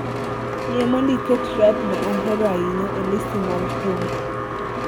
Yie mondo iket rap ma ahero ahinya e listi mar thum